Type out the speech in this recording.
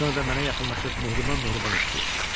Sonra da mənə yaxınlaşıb mehriban-mehriban öpdü.